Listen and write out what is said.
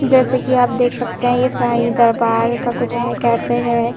जैसे कि आप देख सकते हैं ये साईं दरबार का कुछ है कैफे है।